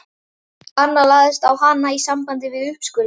Annað lagðist á hana í sambandi við uppskurðinn.